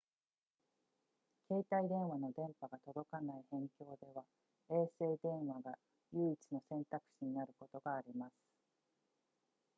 携帯電話の電波が届かない辺境では衛星電話が唯一の選択肢になることがあります